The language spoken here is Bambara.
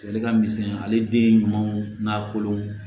Ale ka misɛn ale den ɲumanw n'a kolon